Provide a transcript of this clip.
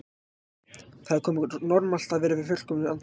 Það er ekki normalt að vera við fullkomna andlega heilsu.